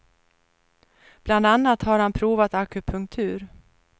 Bland annat har han provat akupunktur.